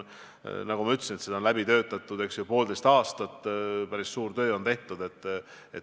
Nagu ma ütlesin, selle kallal on töötatud poolteist aastat, päris suur töö on tehtud.